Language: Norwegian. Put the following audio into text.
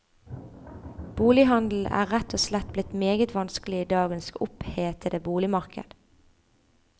Bolighandelen er rett og slett blitt meget vanskelig i dagens opphetede boligmarked.